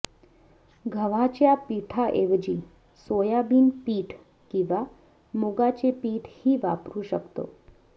गव्हाच्या पिठाऐवजी सोयाबिन पीठ किंवा मुगाचे पीठही वापरू शकतो